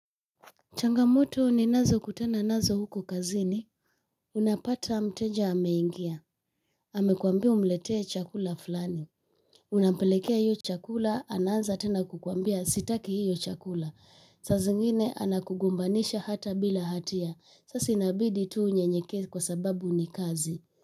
Changamoto ninazo kutana nazo huko kazini. Unapata mteja ameingia. Amekwambi umletee chakula fulani. Unapelekea hiyo chakula, anaanza tena kukwambia sitaki hiyo chakula. Saa zingine anakugombanisha hata bila hatia. Sa si inabidi tu unyenyekee kwa sababu ni kazi.